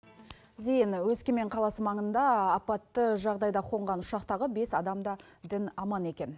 зейін өскемен қаласы маңында апатты жағдайда қонған ұшақтағы бес адам да дін аман екен